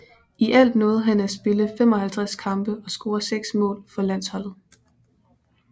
I alt nåede han at spille 55 kampe og score seks mål for landsholdet